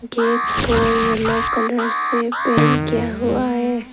Gate को yellow colour से paint किया हुआ है।